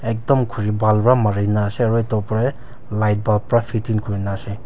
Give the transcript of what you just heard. Ekdum khuri bhal pra marena ase aro etu opor dae light bulb pra fitting kurena ase.